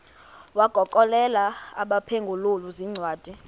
wagokelela abaphengululi zincwadi